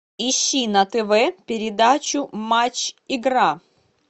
ищи на тв передачу матч игра